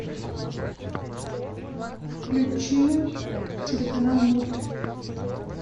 включи телеканал мульт